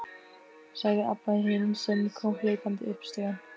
sagði Abba hin, sem kom hlaupandi upp stigann.